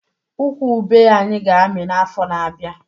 Ukwu ube anyị ga-amị n'afọ na-abịa